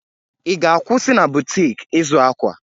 I ga-akwụsị na butik ịzụ akwa?